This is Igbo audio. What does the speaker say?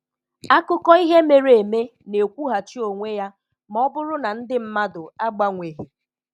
Akụkọ ihe mere eme na-ekwughachi onwe ya ma ọ bụrụ na ndị mmadụ agbanweghị